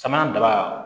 Sama daba